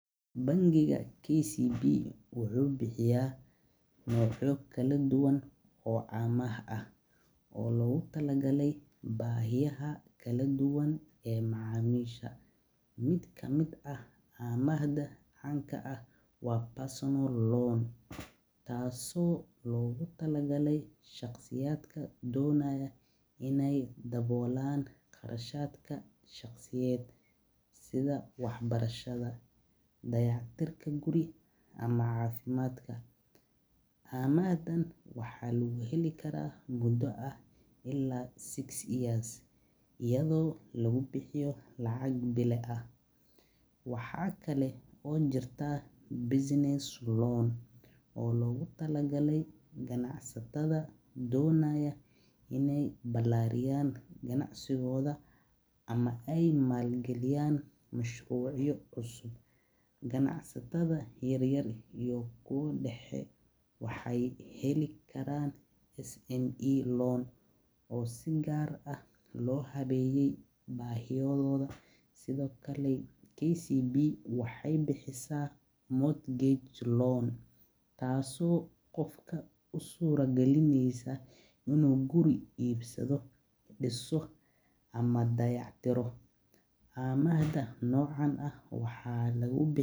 Bankiga wuxuu bixiya noocya kala duban oo amaah ah, mid kamid ah waa loon, taas oo loogu tala galay shaqsiyaadka, amahdan waxaa lagu heli mudo ah ilaa lix sano, waxaa loogu tala gale ganacsata, ama maal galiyan mashruuc cusub, oo si gaar ah loo habeeyo, waxeey bixisa mid usuuro galineysa inuu guri iibsado.